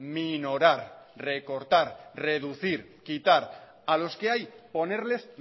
minorar recortar reducir quitar a los que hay ponerles